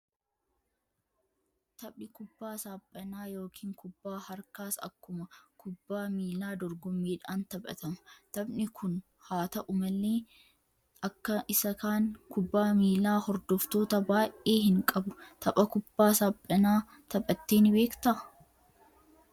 Taphni kubbaa saaphanaa yookiin kubbaa harkaas akkuma kubbaa miilaa dorgommiidhaan taphatama. Taphni kun haa ta'u malee, akka isa kan kubbaa miilaa hordoftoota baay'ee hin qabu. Tapha kubbaa saaphanaa taphattee ni beektaa?